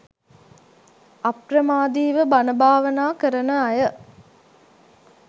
අප්‍රමාදීව බණ භාවනා කරන අය